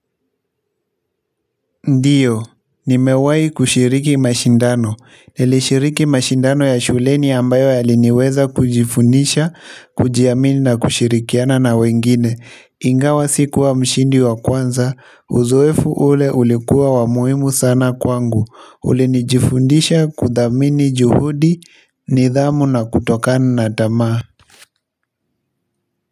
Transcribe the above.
Ndiyo, nimewahi kushiriki mashindano, nilishiriki mashindano ya shuleni ambayo niliweza kujifundisha, kujiamini na kushirikiana na wengine. Ingawa sikuwa mshindi wa kwanza, uzoefu ule ulikuwa wa muhimu sana kwangu, ulinifundisha kuthamini juhudi, nidhamu na kutokana na tamaa.